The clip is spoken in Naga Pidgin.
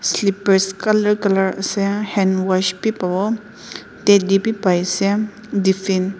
slippers color color ase handwash b pavo teddy b pai ase tiffin .